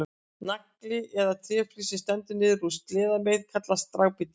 Nagli eða tréflís sem stendur niður úr sleðameið kallast dragbítur.